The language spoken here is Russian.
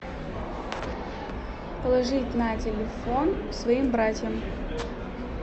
положить на телефон своим братьям